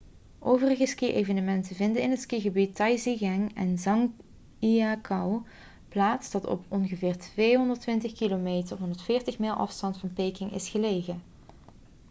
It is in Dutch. overige ski-evenementen vinden in het skigebied taizicheng in zhangjiakou plaats dat op ongeveer 220 km 140 mijl afstand van peking is gelegen